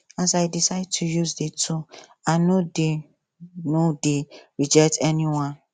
um i decide to use the two i no dey no dey reject anyone